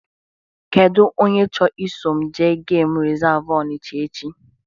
Kedụ onye chọ ị so m jee geem resavu Ọnicha echi?